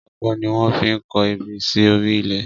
Ọkọ́ ni wọ́n fi ń kọ ebè sí orí ilẹ̀